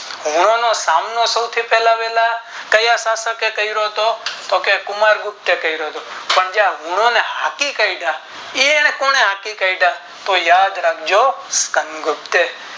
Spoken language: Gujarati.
હુંનો નો સામનો પહેલા વહેલા ક્યાં શાસકે કરો થો તો કે કુમાર ગુપ્તે કરો થો સાંજ ગુનો ને હાંકી કાઢ્યા એ એને કોને હાંકી હાંકી કાઢ્યા તો યાદ રાખજો ચિકન ગુપ્તે